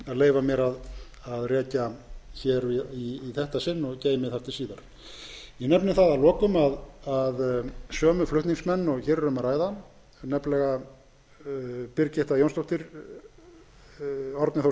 leyfa mér að rekja í þetta sinn og geymi þar til síðar ég nefni þá að lokum að sömu flutningsmenn og hér er um að ræða nefnilega háttvirtur þingmaður birgitta jónsdóttir árni þór